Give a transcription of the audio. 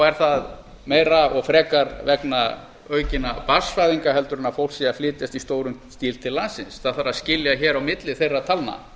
er það meira og frekar vegna aukinna barnsfæðinga en að fólk sé að flytjast í stórum stíl til landsins það þarf að skilja hér á milli þeirra talna